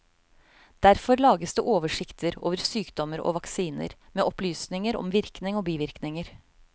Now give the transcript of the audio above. Derfor lages det oversikter over sykdommer og vaksiner, med opplysninger om virkning og bivirkninger.